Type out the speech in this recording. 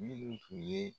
Minnu tun ye